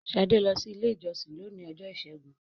Shade lọ si ilé ìjósìn lóni Ọjọ́ Ìsẹ́gun